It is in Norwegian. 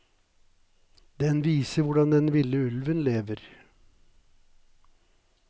Den viser hvordan den ville ulven lever.